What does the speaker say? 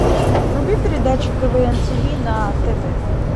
вруби передачу квн тиви на тв